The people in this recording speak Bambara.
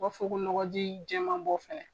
U b'a fɔ ko nɔgɔji jɛman bɔ fɛnɛ.